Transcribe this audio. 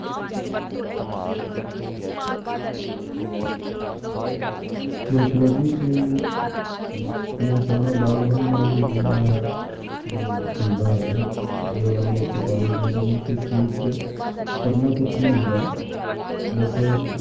ਬਿਲਕੁਲ ਜੀ ਇਹ ਅਹ ਮੇਰੇ ਹਿਸਾਬ ਨਾਲ ਬਾਗ਼ਬਾਨੀ ਨਾਲ ਹੀ ਜੁੜਿਆ ਹੋਇਆ ਅਹ ਧੰਦਾ ਹੈਗਾ ਜਿਹੜਾ ਮਧੂਮੱਖੀ ਪਾਲਣ ਕਹਿੰਦੇ ਕਿਉਂਕਿ ਇਸ ਵਿੱਚ ਕਰਨਾ ਕੁਛ ਨੀ ਹੁੰਦਾ ਬਸ